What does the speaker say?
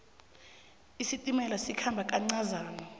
isitimela sikhamba kancazana